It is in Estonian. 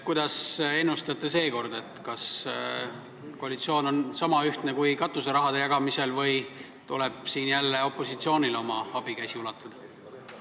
Kuidas te ennustate, kas seekord on koalitsioon niisama ühtne kui katuserahade jagamisel või tuleb jälle opositsioonil oma abikäsi ulatada?